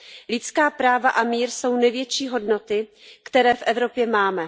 Lidská práva a mír jsou největší hodnoty, které v Evropě máme.